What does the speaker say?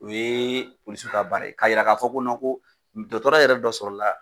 O ye polisiw ka baara ye k'a yira k'a fɔ ko ko dɔgɔtɔrɔ yɛrɛ dɔ sɔrɔ la.